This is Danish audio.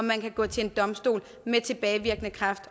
man kan gå til en domstol og med tilbagevirkende kraft